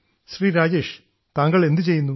ശ്രീ രാജേഷ് താങ്കൾ എന്തുചെയ്യുന്നു